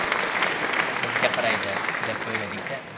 Bizga qaraydi, deb o‘yladik-da.